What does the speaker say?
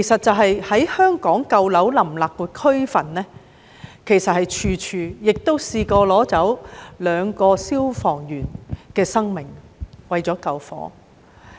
在香港舊樓林立的區份，其實處處都有這些被奪走的人命，也有兩個消防員為了救火而被奪去性命。